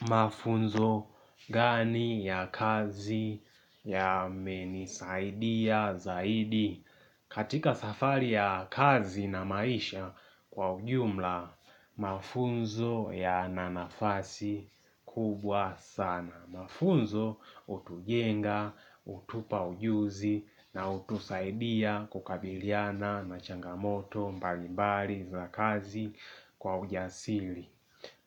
Mafunzo gani ya kazi yamenisaidia zaidi katika safari ya kazi na maisha kwa ujumla, mafunzo yana nafasi kubwa sana. Mafunzo utujenga, utupa ujuzi na utusaidia kukabiliana na changamoto mbali mbali za kazi kwa ujasili.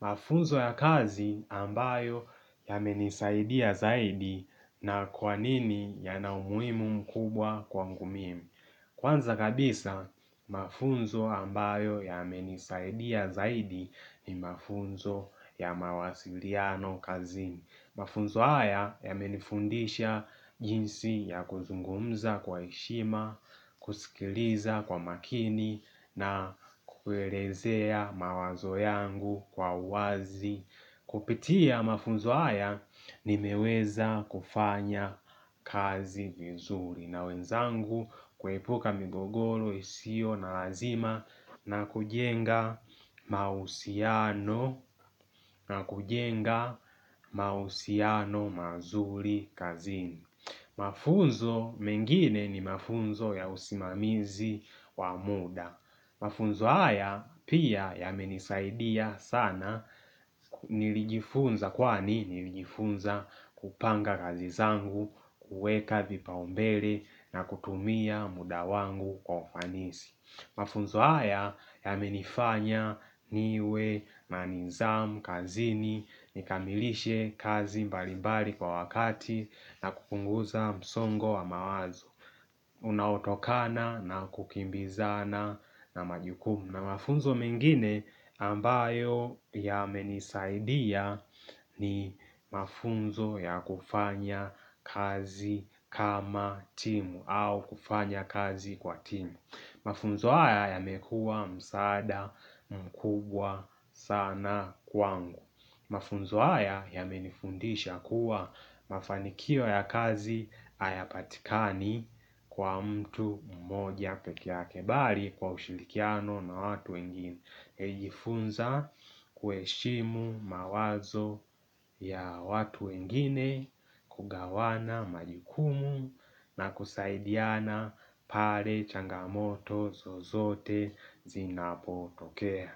Mafunzo ya kazi ambayo yamenisaidia zaidi na kwa nini yana umuhimu mkubwa kwangu mimi. Kwanza kabisa, mafunzo ambayo yamenisaidia zaidi ni mafunzo ya mawasiliano kazini. Mafunzo haya yamenifundisha jinsi ya kuzungumza kwa heshima, kusikiliza kwa makini na kuerezea mawazo yangu kwa wazi. Kupitia mafunzo haya nimeweza kufanya kazi vizuri na wenzangu kuepuka migogoro, isio na lazima na kujenga mausiano mazuri kazini. Mafunzo mengine ni mafunzo ya usimamizi wa muda. Mafunzo haya pia yamenisaidia sana, nilijifunza kwani nilijifunza kupanga kazi zangu, kuweka vipaumbele na kutumia muda wangu kwa ufanisi. Mafunzo haya yamenifanya niwe na nizamu, kazini, nikamilishe kazi mbalimbali kwa wakati na kupunguza msongo wa mawazo. Unaotokana na kukimbizana na majukumu. Na mafunzo mengine ambayo yamenisaidia ni mafunzo ya kufanya kazi kama timu au kufanya kazi kwa timu. Mafunzo haya yamekuwa msaada mkubwa sana kwangu. Mafunzo haya yamenifundisha kuwa mafanikio ya kazi hayapatikani kwa mtu mmoja pekee yake bali kwa ushirikiano na watu wengine. Nimejifunza kuheshimu mawazo ya watu wengine, kugawana majukumu na kusaidiana pale changamoto zozote zinapotokea.